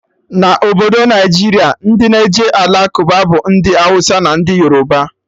Na Obodo Naijiria, ndị na-eje Alakụba bụ ndị Awụsa na ndị Yoroba